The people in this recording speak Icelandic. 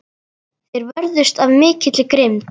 Þeir vörðust af mikilli grimmd.